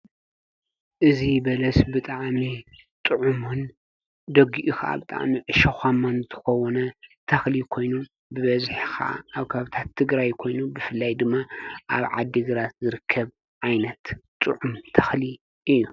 እዙ በለስ ብጥኣሜ ጥዑእዩ ደጕኡኽ ኣብ ጥኣሚ ሸዃማን ተኸዎነ ታኽሊ ኮይኑ ብበዝሕኻዓዓ ኣብ ካብታት እትግራ ኣይኮይኑ ብፍላይ ድመ ኣብ ዓዲ ግራት ዘርከብ ኣይነት ጽዑም ተኽሊ እዩ።